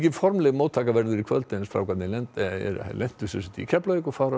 formleg móttaka verður í kvöld en strákarnir lenda lenda í Keflavík og fara